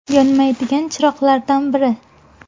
Yonmaydigan chiroqlardan biri.